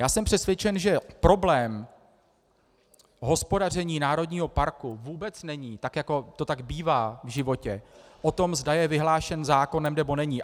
Já jsem přesvědčen, že problém hospodaření národního parku vůbec není, tak jako to tak bývá v životě, o tom, zda je vyhlášen zákonem, nebo není.